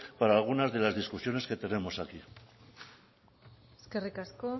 para algunas de las discusiones que tenemos aquí eskerrik asko